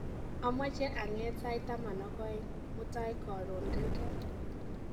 amoche ang'eet sait taman ak oeng' mutai korun gaigai